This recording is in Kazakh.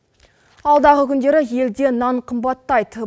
алдағы күндері елде нан қымбаттайды